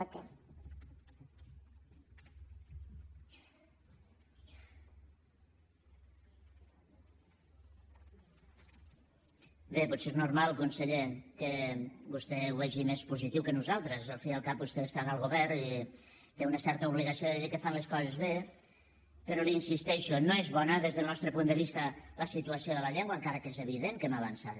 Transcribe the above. bé potser és normal conseller que vostè ho vegi més positiu que nosaltres al cap i a la fi vostè està en el govern té una certa obligació de dir que fan les coses bé però li insisteixo no és bona des del nostre punt de vista la situació de la llengua encara que és evident que hem avançat